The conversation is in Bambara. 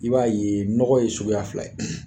I b'a ye nɔgɔ ye suguya fila ye